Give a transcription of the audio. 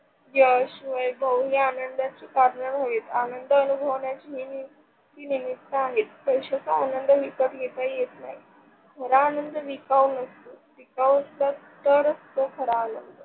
यश, वैभव या आनंदाची कारण होय. आनंद अनुभवण्याची निमित्त आहेत. पैश्याचा आनंद विकत घेता येत नाही. खरा आनंद विकाऊ नसतो, विकाऊ नसला तर असतो खरा आनंद.